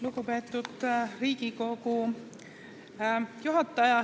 Lugupeetud Riigikogu juhataja!